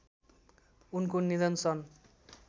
उनको निधन सन्